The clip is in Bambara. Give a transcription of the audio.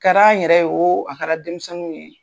A kɛr'an yɛrɛ ye o, a kɛra denmisɛnninw ye